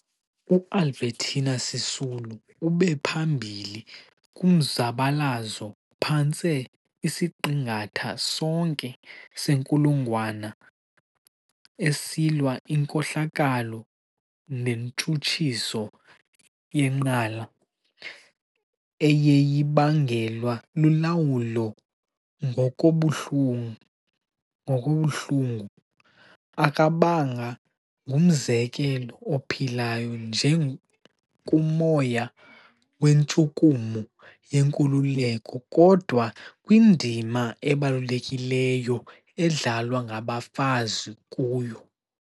U- Albertina Sisulu ube phambili kumzabalazo phantse isiqingatha sonke senkulungwane esilwa inkohlakalo nentshutshiso yenqala, eyeyibangelwa lulawulo ngokobuhlanga. Akabanga ngumzekelo ophilayo nje kumoya wentshukumo yenkululeko, kodwa kwindima ebalulekileyo edlalwa ngabafazi kuwo.